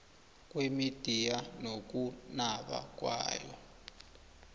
kwemidiya nokunaba kwayo